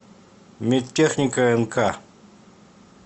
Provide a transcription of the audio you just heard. медтехника нк